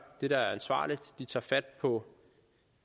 det der er ansvarligt de tager fat på